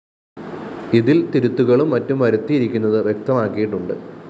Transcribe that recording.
ഇതില്‍ തിരുത്തുകളും മറ്റും വരുത്തിയിരിക്കുന്നത് വ്യക്തമാക്കിയിട്ടുണ്ട്